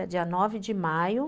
Era dia nove de maio.